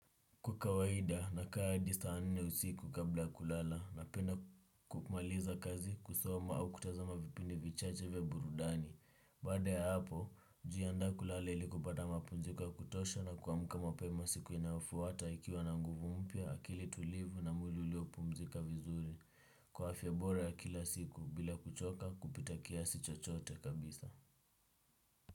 Kwa kawahida nakaa hadi saa nne usiku kabla kulala, napenda kumaliza kazi, kusoma au kutazama vipindi vichache vya burudani. Baada ya hapo, hujiandaa kulala ili kupata mapumziko ya kutosha na kuamka mapema siku inayofuata ikiwa na nguvu mpya, akili tulivu na mwili uliopumzika vizuri. Kwa afya bora ya kila siku bila kuchoka kupita kiasi chochote kabisa.